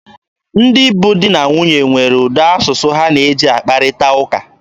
Ndị bụ di na nwunye nwere ụdị asụsụ ha na-eji akparịta ụka.